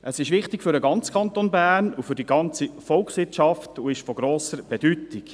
Es ist für den ganzen Kanton Bern und die gesamte Volkswirtschaft wichtig und von grosser Bedeutung.